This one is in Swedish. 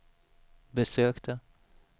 besökte